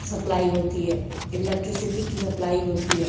Supply होती है। Electricity की सप्लाई होती है।